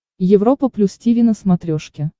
европа плюс тиви на смотрешке